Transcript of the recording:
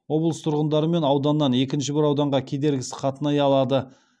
облыс тұрғындары бір ауданнан екінші бір ауданға кедергісіз қатынай алады